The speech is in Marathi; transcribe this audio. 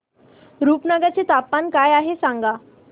रुपनगर चे तापमान काय आहे सांगा